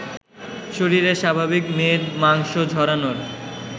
শরীরের স্বাভাবিক মেদ মাংস ঝরানোর